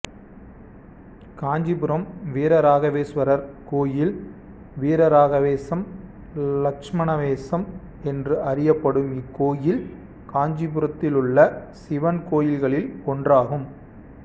காஞ்சிபுரம் வீரராகவேசுவரர் கோயில் வீரராகவேசம் லட்சுமணேசம் என்று அறியப்படும் இக்கோயில் காஞ்சிபுரத்திலுள்ள சிவன் கோயில்களில் ஒன்றாகும்